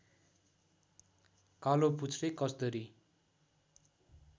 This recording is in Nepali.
कालोपुच्छ्रे कस्दरी